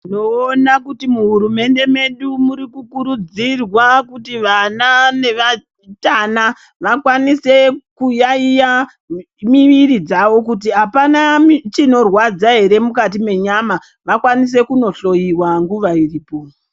Tinoona kuti muhurumende medu murikukurudzirwa kuti vana nevatana vakwanise kuyaiya miviri dzavi kuti hapana chinorwadza here mukati menyama. Vakwanise kunohloyiwa nguva iripo.